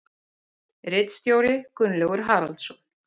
Ritstjóri Gunnlaugur Haraldsson.